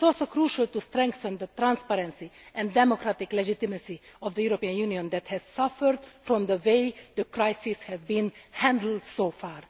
It is also crucial to strengthen the transparency and democratic legitimacy of the European Union which has suffered from the way the crisis has been handled so far.